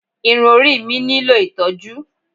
Irun orí mi nílò ìtọ́jú.